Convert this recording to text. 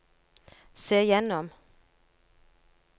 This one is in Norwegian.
se gjennom